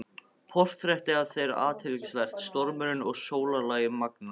Portrettið af þér er athyglisvert- stormurinn og sólarlagið magnað.